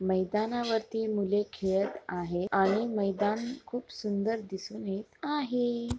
मैदानावरती मुले खेळत आहे आणि मैदान खूप सुंदर दिसून येत आहे.